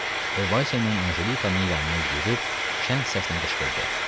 O Vayse ilə Anjelikanın yanına yürüyüb şən səslə qışqırdı.